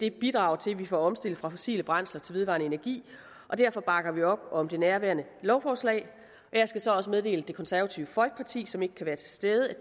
et bidrag til at vi får omstillet fra fossile brændsler til vedvarende energi og derfor bakker vi op om det nærværende lovforslag jeg skal så også meddele at det konservative folkeparti som ikke kan være til stede